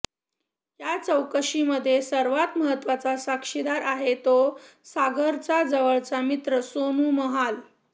या चौकशीमध्ये सर्वात महत्वाचा साक्षीदार आहे तो सागरचा जवळचा मित्र सोनू महाल